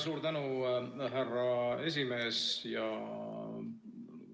Suur tänu, härra aseesimees!